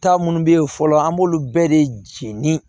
Taa munnu bɛ ye fɔlɔ an b'olu bɛɛ de jeni